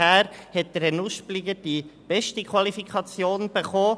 Herr Nuspliger hat die beste Qualifikation erhalten;